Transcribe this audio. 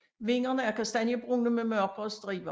Vingerne er kastanjebrune med mørkere striber